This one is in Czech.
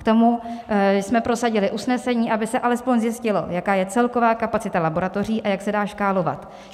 K tomu jsme prosadili usnesení, aby se alespoň zjistilo, jaká je celková kapacita laboratoří a jak se dá škálovat.